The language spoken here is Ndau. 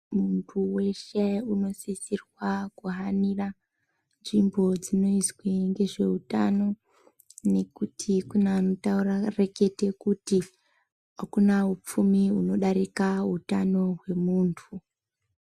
Munhu weshe anosisirwa kuhanira nzvimbo dzinoizwe ngezvehutano ngekuti kune anoreketa kuti akuna upfumi hunodarika zvako hwemuntu.